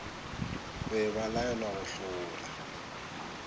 be ba laelwa go hlobola